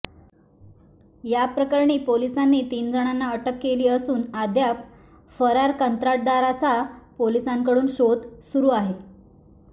या प्रकरणी पोलिसांनी तीन जणांना अटक केली असून अद्याप फरार कंत्राटदाराचा पोलिसांकडून शोध सुरू आहे